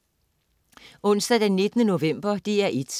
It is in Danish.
Onsdag den 19. november - DR1: